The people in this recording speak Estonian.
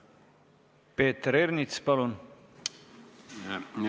Peeter Ernits, palun!